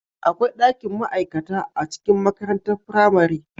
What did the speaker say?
Akwai dakin ma'aikata a cikin makarantar firamare